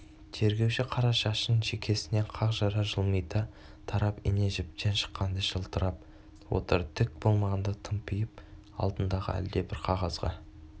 тергеуші қара шашын шекесінен қақ жара жылмита тарап ине-жіптен шыққандай жылтырап отыр түк болмағандай тымпиып алдындағы әлдебір қағазға